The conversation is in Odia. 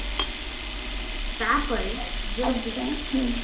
ତାପରେ ଯଦି